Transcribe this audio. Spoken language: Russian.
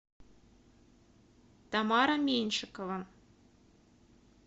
тамара меньшикова